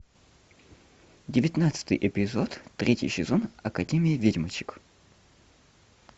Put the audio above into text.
девятнадцатый эпизод третий сезон академия ведьмочек